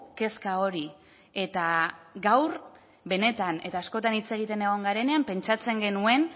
kezka hori eta gaur benetan eta askotan hitz egiten egon garenean pentsatzen genuen